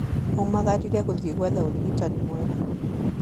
Aumagarire gũthiĩ gwetha ũrigitani mwega